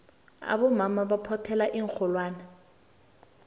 abomama baphothela iinxholwane